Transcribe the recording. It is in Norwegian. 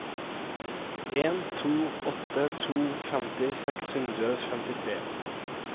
en to åtte to femti seks hundre og femtitre